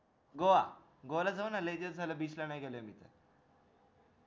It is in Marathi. goagoa ला जाऊ ना लय दिवस झाले beach वर नाय गेलेलो मी त